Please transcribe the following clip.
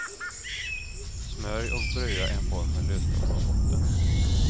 Smörj och bröa en form med löstagbar botten.